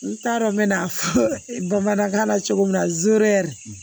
N t'a dɔn n bɛ na fɔ bamanankan na cogo min na zoro